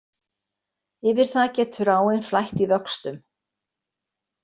Yfir það getur áin flætt í vöxtum.